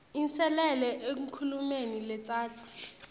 inselele enkhulumeni letsatsa